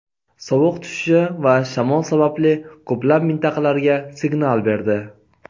sovuq tushishi va shamol sababli ko‘plab mintaqalarga signal berdi.